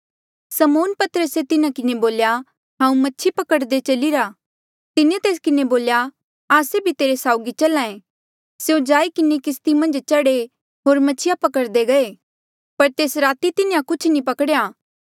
समौन पतरसे तिन्हा किन्हें बोल्या हांऊँ मछि पकड़दे चलीरा तिन्हें तेस किन्हें बोल्या आस्से भी तेरे साउगी चल्हा ऐें स्यों जाई किन्हें किस्ती मन्झ चढ़े होर मछिया पकड़दे गये पर तेस राती तिन्हें कुछ नी पकड़ेया